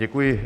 Děkuji.